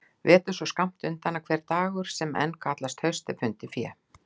Vetur svo skammt undan að hver dagur sem enn kallast haust er fundið fé.